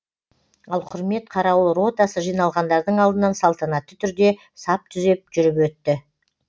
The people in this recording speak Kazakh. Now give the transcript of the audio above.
ал құрмет қарауыл ротасы жиналғандардың алдынан салтанатты түрде сап түзеп жүріп өтті